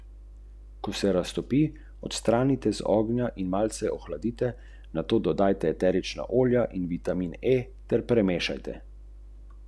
Nastop je za Radomlje kot nagrada, je pa to še eden v vrsti klubov na amaterski osnovi.